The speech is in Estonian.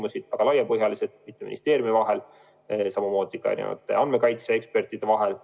Need olid väga laiapõhjalised, mitme ministeeriumi ja ka andmekaitse ekspertide vahel.